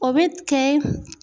O bɛ kɛ